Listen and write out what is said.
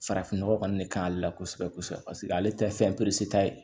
Farafin nɔgɔ kɔni de ka k'ale la kosɛbɛ kosɛbɛ paseke ale tɛ fɛn ta ye